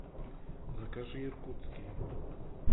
закажи иркутские